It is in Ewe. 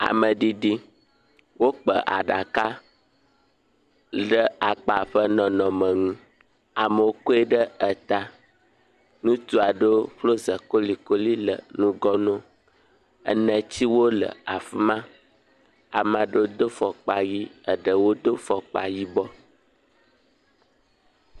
Ameɖiɖi, wokpa aɖaka ɖe akpa ƒe nɔnɔme nu, amewo kɔe ɖe eta, nutsu aɖewo ƒlɔ ze kolikoli le ŋgɔ na wo, enetiwo le fi ma, ame aɖewo do fɔkpa yi eɖewo do fɔkpa yibɔ.